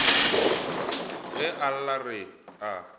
ge a lla re a